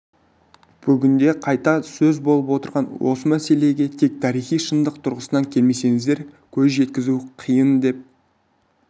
бүгінде қайта сөз болып отырған осы мәселеге тек тарихи шындық тұрғысынан келмесеңіздер көз жеткізу қиын деп